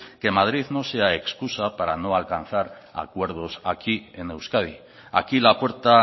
que madrid no sea excusa para no alcanzar acuerdos aquí en euskadi aquí la puerta